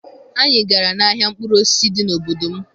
Anyị gara n'ahịa mkpụrụ osisi dị n'obodo m